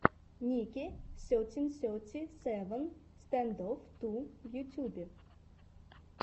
ники сетин сети севен стэндофф ту в ютьюбе